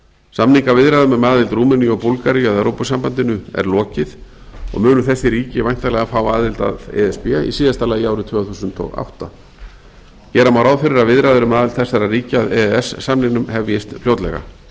samningaviðræðum um aðild rúmeníu og búlgaríu að evrópusambandinu er lokið og munu þessi ríki væntanlega fá aðild að e s b í síðasta lagi árið tvö þúsund og átta gera má ráð fyrir að viðræður um aðild þessara ríkja að e e s samningnum hefjist fljótlega